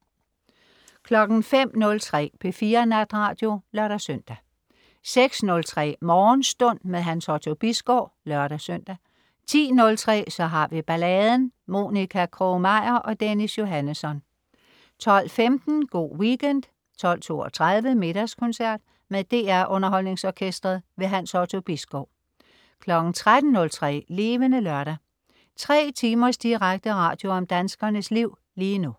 05.03 P4 Natradio (lør-søn) 06.03 Morgenstund. Hans Otto Bisgaard (lør-søn) 10.03 Så har vi balladen. Monica Krog-Meyer og Dennis Johannesson 12.15 Go' Weekend 12.32 Middagskoncert. Med DR Underholdningsorkestret. Hans Otto Bisgaard 13.03 Levende Lørdag. 3 timers direkte radio om danskernes liv lige nu